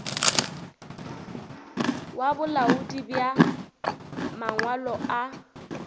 wa bolaodi bja mangwalo a